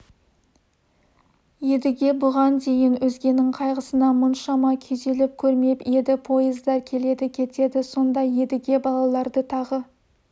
едіге бұған дейін өзгенің қайғысына мұншама күйзеліп көрмеп еді пойыздар келеді кетеді сонда едіге балаларды тағы